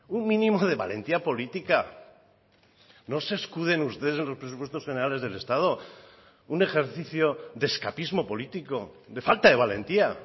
un mínimo de valentía política no se escuden ustedes en los presupuestos generales del estado un ejercicio de escapismo político de falta de valentía